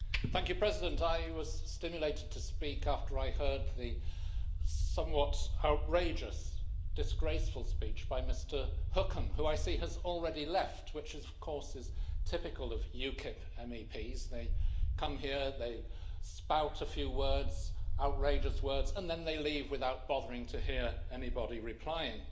Mr President, I was stimulated to speak after I heard the somewhat outrageous, disgraceful speech by Mr Hookem who, I see, has already left, which, of course, is typical of UKIP MEPs they come here, they spout a few words, outrageous words, and then they leave without bothering to hear anybody replying.